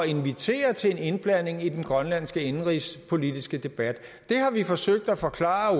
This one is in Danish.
invitere til en indblanding i den grønlandske indenrigspolitiske debat det har vi forsøgt at forklare